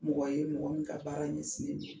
Mɔgɔ ye mɔgɔ min ka baara ɲɛsinnen don